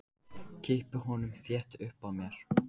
Kippi honum þétt upp að mér.